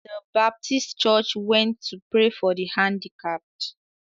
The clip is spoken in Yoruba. The baptist church went to pray for the handicapped.